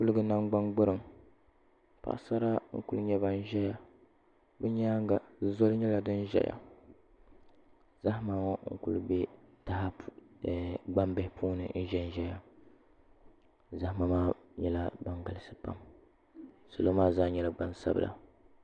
Kuligi namgbani gburiŋ paɣasara n ku nyɛ ban ʒɛya bi nyaanga zoli nyɛla din ʒɛya zahama n kuli bɛ gbambihi puuni n ʒɛnʒɛya zahama maa nyɛla din galisi pam salo maa zaa nyɛla gbansabila